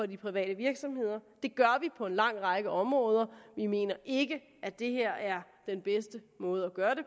de private virksomheder det gør vi på en lang række områder vi mener ikke at det her er den bedste måde at gøre det